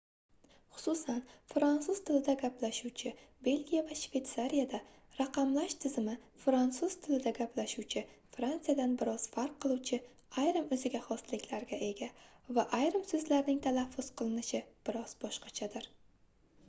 xususan fransuz tilida gaplashuvchi belgiya va shveytsariyada raqamlash tizimi frantsuz tilida gaplashuvchi frantsiyadan bir oz farq qiluvchi ayrim oʻziga xosliklarga ega va ayrim soʻzlarning talaffuz qilinishi biroz boshqachadir